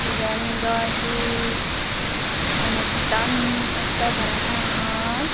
iben daw he anustan ottey parapangor.